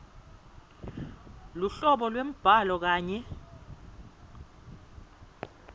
luhlobo lwembhalo kanye